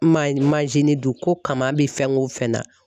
Manjini dun ko kama bi fɛn o fɛn na